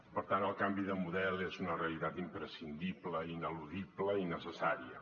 per tant el canvi de model és una realitat imprescindible ineludible i ne·cessària